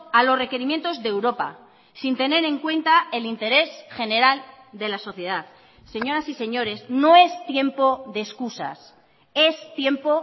a los requerimientos de europa sin tener en cuenta el interés general de la sociedad señoras y señores no es tiempo de excusas es tiempo